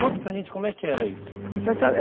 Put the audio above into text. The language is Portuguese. Conta para gente como é que era isso, essa estrada